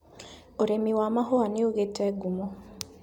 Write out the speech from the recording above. ũrĩmi wa mahũa nĩũgĩte ngumo.